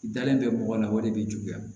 I dalen bɛ mɔgɔ la o de bɛ juguya